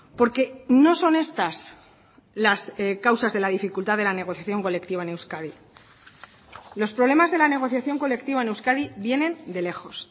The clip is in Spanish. porque no son estas las causas de la dificultad de la negociación colectiva en euskadi los problemas de la negociación colectiva en euskadi vienen de lejos